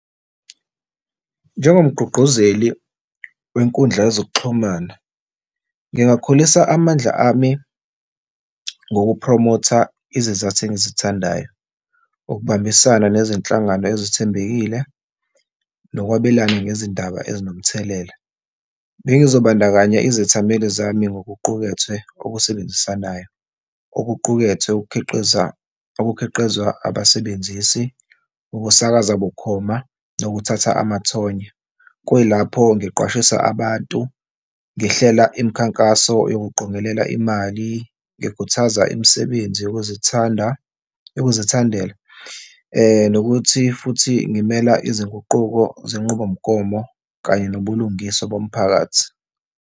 Njengomgquqguzeli wenkundla yezokuxhumana, ngingakhulisa amandla ami ngokuphromotha izizathu engizithandayo. Ukubambisana nezinhlangano ezithembekile nokwabelana ngezindaba ezinomthelela. Bengizobandakanya izethameli zami ngokuqukethwe okusebenzisanayo, okuqukethwe, ukukhiqiza, ukukhiqizwa abasebenzisi, ukusakaza bukhoma nokuthatha amathonya. Kuyilapho ngiqwashise abantu, ngihlela imikhankaso yokuqongelela imali, ngikhuthaza imisebenzi yokuzithanda, yokuzithandala nokuthi futhi ngimela izinguquko zenqubomgomo kanye nobulungiswa bomphakathi.